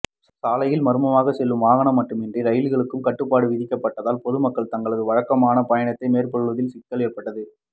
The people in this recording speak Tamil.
சாலை மார்க்கமாக செல்லும் வாகனங்கள் மட்டுமின்றி ரயில்களுக்கும் கட்டுப்பாடு விதிக்கப்பட்டதால் பொதுமக்கள் தங்களது வழக்கமான பயணத்தை மேற்கொள்வதில் சிக்கல் ஏற்பட்டது